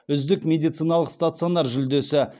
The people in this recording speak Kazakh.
үздік медициналық стационар жүлдесі